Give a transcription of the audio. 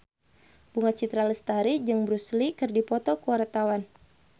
Bunga Citra Lestari jeung Bruce Lee keur dipoto ku wartawan